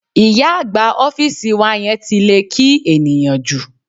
Ìyá àgbà ọ́fíìsì wa yẹn ti lè kí ènìyàn jù.